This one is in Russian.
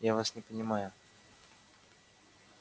я вас не понимаю